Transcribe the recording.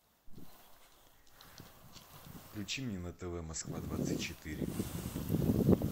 включи мне на тв москва двадцать четыре